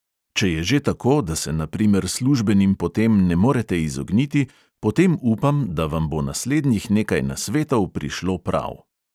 Če je že tako, da se na primer službenim potem ne morete izogniti, potem upam, da vam bo naslednjih nekaj nasvetov prišlo prav.